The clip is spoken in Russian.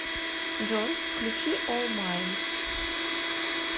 джой включи ол майн